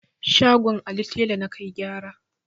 Shagon Ali tela na kai gyara.